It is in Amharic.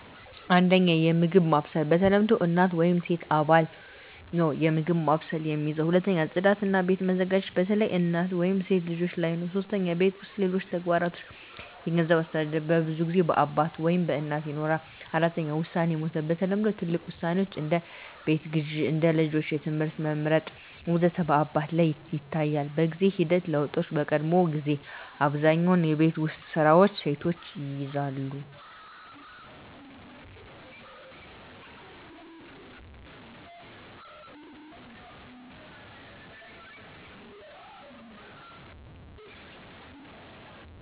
1. የምግብ ማብሰል በተለምዶ እናት ወይም ሴት አባል ነው የምግብ ማብሰልን የሚይዝ። 2. ጽዳት እና ቤት መዘጋጀት በተለይ በእናት ወይም በሴት ልጆች ላይ ነው 3. የቤት ውስጥ ሌሎች ተግባሮች የገንዘብ አስተዳደር በብዙ ጊዜ በአባት ወይም በእናት ይኖራል። 4. ውሳኔ መውሰድ በተለምዶ ትልቅ ውሳኔዎች (እንደ ቤት ግዢ፣ እንደ ልጆች ትምህርት መመርጥ ወዘተ) በአባት ላይ ይታያል፣ 5. በጊዜ ሂደት ለውጦች በቀድሞ ጊዜ አብዛኛውን የቤት ውስጥ ስራዎች ሴቶች ይይዛሉ